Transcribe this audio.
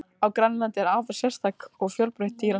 Á Grænlandi er afar sérstætt og fjölbreytt dýralíf.